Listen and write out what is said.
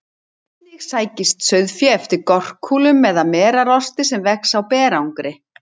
Einnig sækist sauðfé eftir gorkúlum eða merarosti sem vex á berangri.